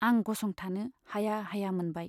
आं गसंथानो हाया हाया मोनबाय।